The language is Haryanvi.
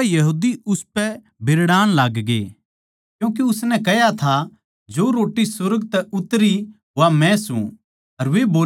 इसपै यहूदी उसपै बिरड़ाण लागगे क्यूँके उसनै कह्या था जो रोट्टी सुर्ग तै उतरी वा मै सूं